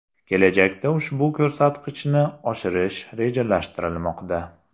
Kelajakda ushbu ko‘rsatkichni oshirish rejalashtirilmoqda.